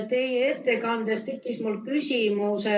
Teie ettekannet kuulates tekkis mul küsimus.